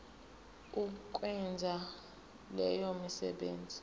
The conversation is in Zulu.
ukwenza leyo misebenzi